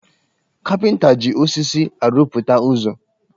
Kapịnta ji osisi arụpụta ụzọ́